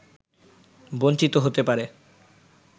বঞ্চিত হতে পারে